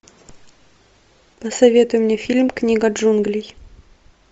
посоветуй мне фильм книга джунглей